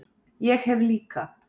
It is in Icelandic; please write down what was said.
Ég hef líka